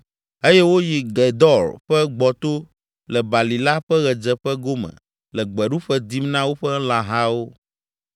eye woyi Gedor ƒe gbɔto le balime la ƒe ɣedzeƒe gome le gbeɖuƒe dim na woƒe lãhawo.